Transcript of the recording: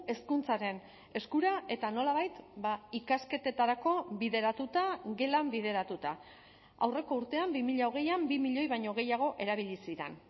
hezkuntzaren eskura eta nolabait ikasketetarako bideratuta gelan bideratuta aurreko urtean bi mila hogeian bi milioi baino gehiago erabili ziren